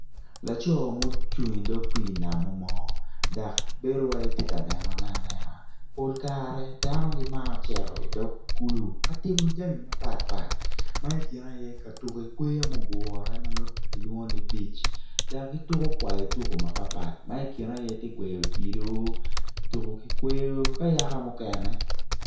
Lco mucung idog pii namumo dak bedo wai ti nenone anena pol kare dano gimaro ceto i dog kulu ka timo jami mapat pat ma i kine aye ka tuku i kweyo ma ogure ma kilwongoni bic dak gituku kai tuku mapat pat ma i kine aye ti gweyo odilu tuku ki kweyo ka yaka mukene